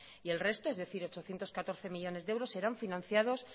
y el resto es decir ochocientos catorce millónes de euros serán financiados